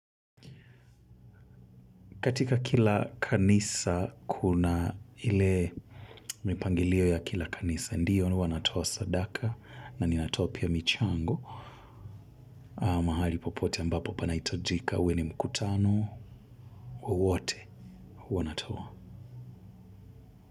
Katika kila kanisa kuna ile mipangilio ya kila kanisa. Ndiyo ni huwa natoa sadaka na ninatoa pia michango. Mahali popote ambapo panahitajika uwe ni mkutano wowote huwa natoa.